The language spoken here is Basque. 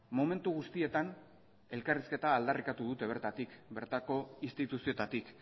momentu guztietan elkarrizketa aldarrikatu dute bertatik bertako instituzioetatik